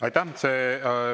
Aitäh!